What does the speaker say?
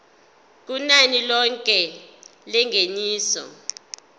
kunani lilonke lengeniso